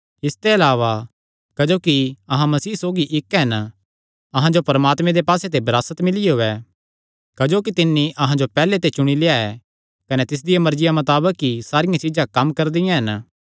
इसते अलावा क्जोकि अहां मसीह सौगी इक्क हन अहां जो परमात्मे दे पास्से ते विरासत मिलियो ऐ क्जोकि तिन्नी अहां जो पैहल्ले ते चुणी लेआ ऐ कने तिसदिया मर्जिया मताबक ई सारियां चीज्जां कम्म करदियां हन